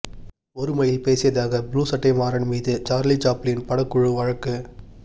ஒருமையில் பேசியதாக ப்ளூ சட்டை மாறன் மீது சார்லி சாப்ளின் படக்குழு வழக்கு